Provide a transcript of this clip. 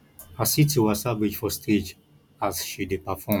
i see tiwa savage for stage as she dey perform